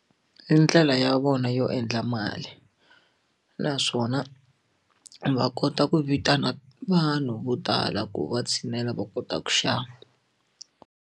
I ndlela ya vona yo endla mali naswona va kota ku vitana vanhu vo tala ku va tshinela va kota ku xava.